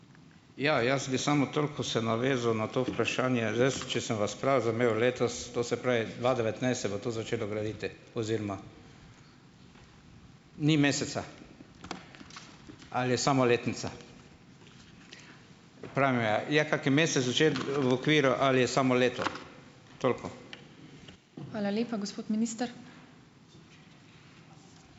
Ja, jaz bi samo toliko se navezal na to vprašanje. Zdaj jaz, če sem vas prav razumel, letos, to se pravi dva devetnajst se bo to začelo graditi oziroma ... ni meseca? Ali je samo letnica? Pravi me je, je kaki mesec v okviru ali je samo leto? Toliko.